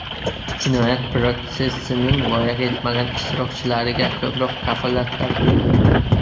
Jinoyat protsessining voyaga yetmagan ishtirokchilariga ko‘proq kafolatlar berildi.